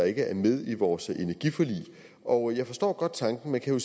ikke er med i vores energiforlig og jeg forstår godt tanken man kan